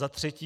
Za třetí.